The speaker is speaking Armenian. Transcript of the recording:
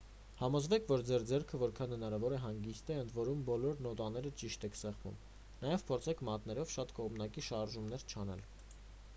համոզվեք որ ձեր ձեռքը որքան հնարավոր է հանգիստ է ընդ որում բոլոր նոտաները ճիշտ եք սեղմում նաև փորձեք մատներով շատ կողմնակի շարժումներ չանել